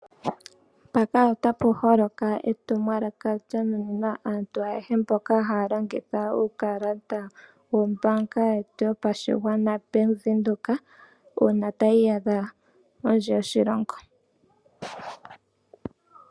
Mpaka ota pu holoka etumwalaka lya nuninwa aantu ayehe mboka haya longitha uukalata wombaanga yetu yopashigwana Bank Windhoek uuna taya iyadha kondje yoshilongo.